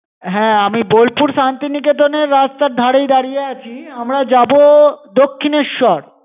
হ্যাঁ, আমি বোলপুর শান্তিনিকেতনের রাস্তার ধারেই দাঁড়িয়ে আছি। আমরা যাব দক্ষিণেশ্বর।